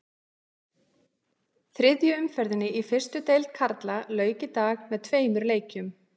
Þriðju umferðinni í fyrstu deild karla lauk í dag með tveimur leikjum.